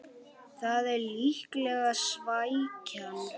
Það er líklega svækjan